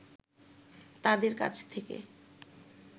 তাঁদের কাছ থেকে